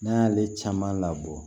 N'an y'ale caman labɔ